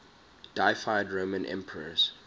deified roman emperors